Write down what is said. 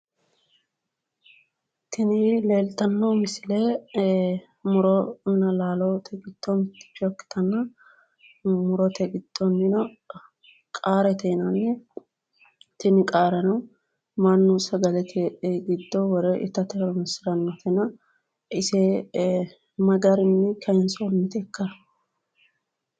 Tini leeltanno misile muronna laalote giddo mitticho ikkitanna murote giddoonni qaarete yinanni. Tini qaarano mannu sagalete giddo wore itate horoonsirannotena ise ma garinni kayinsannitekka?